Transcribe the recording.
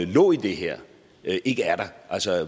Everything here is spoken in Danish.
lå i det her ikke er der